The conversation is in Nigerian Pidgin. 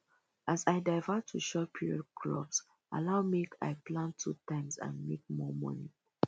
as i divert to short period crops allow make i plant two times and make more money